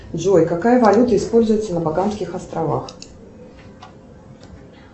джой какая валюта используется на багамских островах